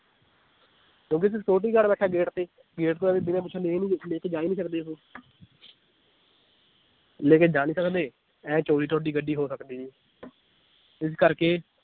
ਕਿਉਂਕਿ ਇਥੇ security guard ਬੈਠਾ ਏ gate ਤੇ gate ਤੋਂ ਐਵੇ ਬਿਨਾ ਪੁਛੇ ਲੇਕੇ ਜਾ ਹੀ ਨੀ ਸਕਦੇ ਉਹ ਲੇਕੇ ਜਾ ਨੀ ਸਕਦੇ, ਇਹ ਚੋਰੀ ਤੁਹਾਡੀ ਗੱਡੀ ਹੋ ਸਕਦੀ ਨੀ ਇਸ ਕਰਕੇ